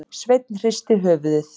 Sveinn hristi höfuðið.